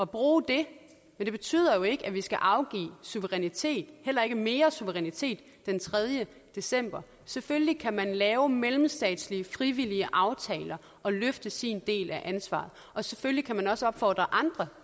bruge det men det betyder jo ikke at vi skal afgive suverænitet heller ikke mere suverænitet den tredje december selvfølgelig kan man lave mellemstatslige frivillige aftaler og løfte sin del af ansvaret og selvfølgelig kan man også opfordre andre